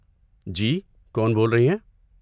جی، کون بول رہی ہیں؟